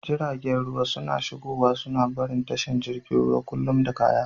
Jiragen ruwa suna shigowa suna barin tashar jiragen ruwa kullum da kaya.